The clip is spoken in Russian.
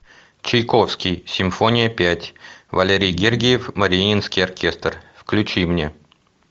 чайковский симфония пять валерий гергиев мариинский оркестр включи мне